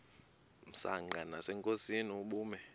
msanqa nasenkosini ubume